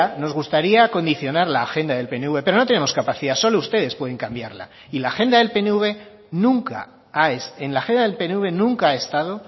nos gustaría condicionar la agenda del pnv pero no tenemos capacidad solo ustedes pueden cambiarla y en la agenda del pnv nunca ha estado